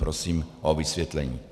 Prosím o vysvětlení.